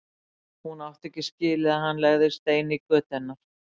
Hún átti ekki skilið að hann legði stein í götu hennar.